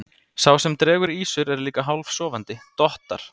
Sá sem dregur ýsur er líka hálfsofandi, dottar.